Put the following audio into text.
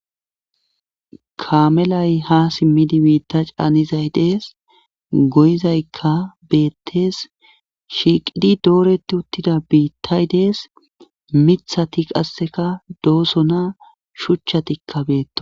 Kaamelay ha simmidi biitta caanizay dees goyizaykka beettes shiiqidi dooreti uttida biittay dees mithati qasseka dooso na shuchchatikka beetto.